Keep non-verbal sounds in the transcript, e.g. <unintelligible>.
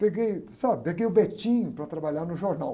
Peguei, sabe? Peguei o <unintelligible> para trabalhar no jornal.